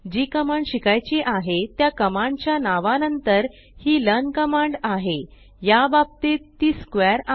जी command शिकायची आहे त्या कमांड च्या नावा नंतर ही लर्न कमांड आहे याबाबतीत ती स्क्वेअर